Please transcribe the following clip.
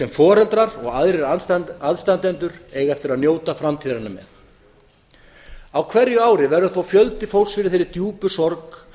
foreldrar og aðrir aðstandendur eiga eftir að njóta framtíðarinnar með á hverju ári verða þó fjöldi fólks fyrir þeirri djúpu sorg